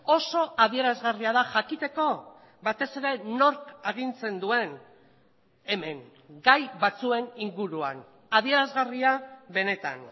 oso adierazgarria da jakiteko batez ere nork agintzen duen hemen gai batzuen inguruan adierazgarria benetan